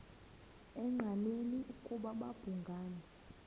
engqanweni ukuba babhungani